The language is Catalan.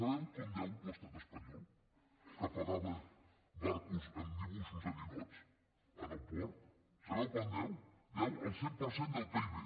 sabeu quant deu l’estat espanyol que pagava barcos amb dibuixos de ninots en el port sabeu quant deu deu el cent per cent del pib